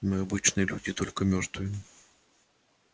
мы обычные люди только мёртвые